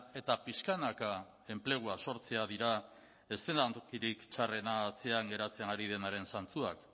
eta pixkanaka enplegua sortzea dira eszenatokirik txarrena atzean geratzen ari denaren zantzuak